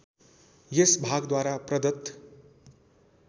यस भागद्वारा प्रदत